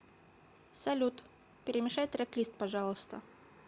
салют перемешай трек лист пожалуйста